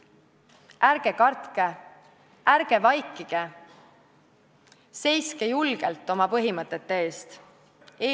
Ärge kartke, ärge vaikige, seiske julgelt oma põhimõtete eest!